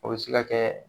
O bɛ se ka kɛ